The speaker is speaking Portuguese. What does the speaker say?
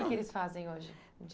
O que eles fazem hoje di